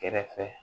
Kɛrɛfɛ